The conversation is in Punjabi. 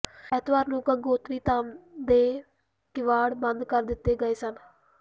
ਐਤਵਾਰ ਨੂੰ ਗੰਗੋਤਰੀ ਧਾਮ ਦੇ ਕਿਵਾੜ ਬੰਦ ਕਰ ਦਿੱਤੇ ਗਏ ਸਨ